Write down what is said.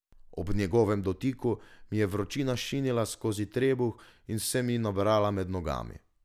Ob njegovem dotiku mi je vročina šinila skozi trebuh in se mi nabrala med nogami.